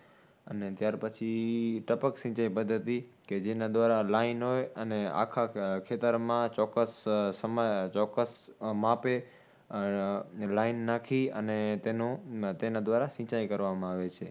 અને ત્યાર પછી ટપક સિચાઈ પદ્ધતિ, કે જેના દ્વારા line હોય અને આખા ખેતરમાં ચોકસ સમ ચોકસ માપે line લાઈન નાખી અને તેનો તેના દ્વારે સિચાઈ કરવામાં આવે છે